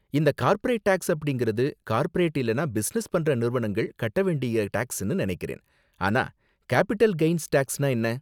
இந்த corporate tax அப்படிங்கறது corporate இல்லனா பிசினஸ் பண்ற நிறுவனங்கள் கட்ட வேண்டிய டேக்ஸ்னு நினைக்கிறேன், ஆனா கேபிட்டல் கெய்ன்ஸ் டேக்ஸ்னா என்ன?